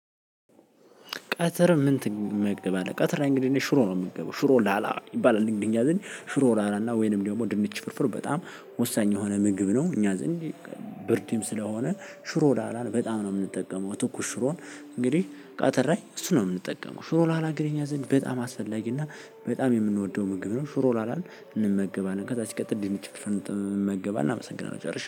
ቀትር ምን ትመገባለህ? ቀትር እንግዲህ ሽሮ ነው የምገባው ሽሮ ላላ ይባላል። እንግዲህ እኛ ዘንድ ሽሮ ላላና ወይንም ደግሞ ድንች ፍርፍር በጣም ወሳኝ የሆነ ምግብ ነው። እኛ ዘንድ ብርድም ስለሆነ ሽሮ ላላን በጣም ነው የምንጠቀመው። ትኩስ ሽሮን እንግዲህ ቀትር ላይ እሱ ነው የምንጠቀመው። ሽሮ ላላ ግን እኛ ዘንድ በጣም አስፈላጊ እና በጣም የምንወደው ምግብ ነው። ሽሮ ላላን እንመገባለን ከዛ ሲቀጥል ድንች ፍርፍር እንጠቀማለን እንመገባለን። አመሰግናለሁ ጨርሼ